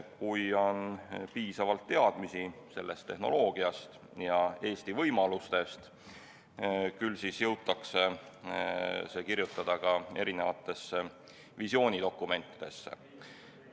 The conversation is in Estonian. Kui on piisavalt teadmisi sellest tehnoloogiast ja Eesti võimalustest, küll siis jõutakse see kirjutada ka visioonidokumentidesse.